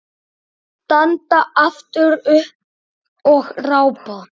Standa aftur upp og rápa.